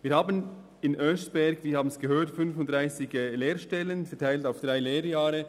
Wir bieten in Oeschberg, wie wir gehört haben, 35 Lehrstellen an.